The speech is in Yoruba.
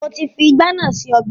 Mo ti fi ìgbá náà se ọbẹ̀